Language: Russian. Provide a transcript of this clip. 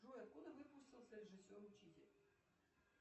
джой откуда выпустился режиссер учитель